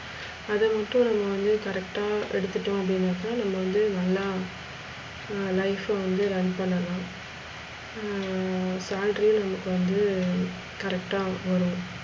அது மட்டும் எல்லாம் correct அ எடுத்துடோ அப்டினாக்க நம்ம வந்து நல்லா ஹம் life வந்து run பண்ணலாம். ஹம் salary நமக்கு வந்து correct வரும்.